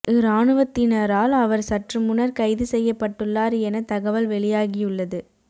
இராணுவத்தினரால் அவர் சற்று முன்னர் கைது செய்யப்பட்டுள்ளார் என தகவல் வெளியாகியுள்ளது